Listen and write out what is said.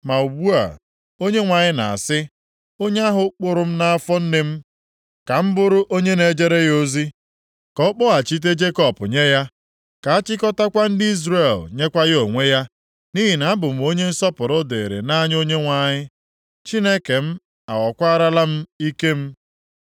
Ma ugbu a Onyenwe anyị na-asị, Onye ahụ kpụrụ m nʼafọ nne m ka m bụrụ onye na-ejere ya ozi; ka ọ kpọghachite Jekọb nye ya ka achịkọtakwa ndị Izrel nyekwa ya onwe ya, nʼihi na-abụ m onye nsọpụrụ dịrị nʼanya Onyenwe anyị, Chineke m aghọkwaarala m ike m.